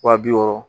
Wa bi wɔɔrɔ